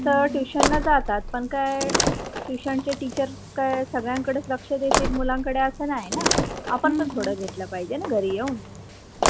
Tution ला जातात पण काय tuition चे teacher काय सगळ्यां कडेच लक्ष देतील मुळं कडे असा नाही ना आपण पण थोड घेतल पाहिजे ना घरी येऊन.